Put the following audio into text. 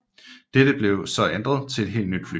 Dette blev så ændret til et helt nyt fly